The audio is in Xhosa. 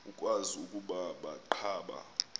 ukwazi ukuba baqhuba